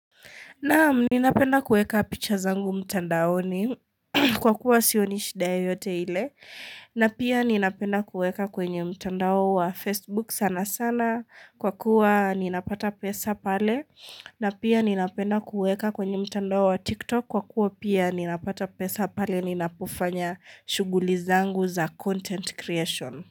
Naam ninapenda kueka picha zangu mtandaoni kwa kuwa sionishida yoyote ile na pia ninapenda kueka kwenye mtandao wa Facebook sana sana kwa kuwa ninapata pesa pale na pia ninapenda kueka kwenye mtandao wa TikTok kwa kuwa pia ninapata pesa pale ninapofanya shughuli zangu za content creation.